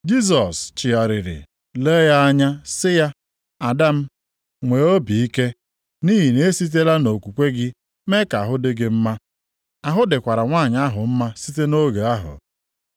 Jisọs chigharịrị lee ya anya sị ya, “Ada m, nwee obi ike, nʼihi na e sitela nʼokwukwe gị mee ka ahụ dị gị mma.” Ahụ dịkwara nwanyị ahụ mma site nʼoge ahụ.